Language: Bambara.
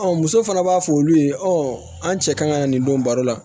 muso fana b'a fɔ olu ye an cɛ ka na nin don baro la